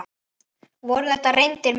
Voru þetta reyndir menn?